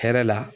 Hɛrɛ la